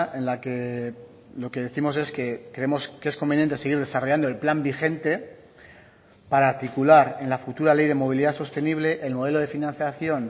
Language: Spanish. en la que lo que décimos es que creemos que es conveniente seguir desarrollando el plan vigente para articular en la futura ley de movilidad sostenible el modelo de financiación